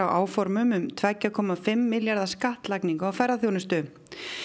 áformum um tveggja komma fimm milljarða skattlagningu á ferðaþjónustu